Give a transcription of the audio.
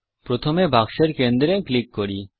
প্রথমে বাক্সের কেন্দ্রে টিপি